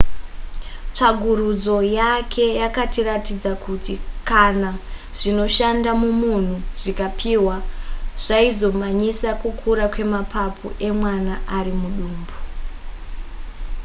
tsvagurudzo yake yakaratidza kuti kana zvinoshanda mumunhu zvikapihwa zvaizomhanyisa kukura kwemapapu emwana ar mudumbu